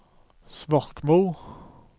Svorkmo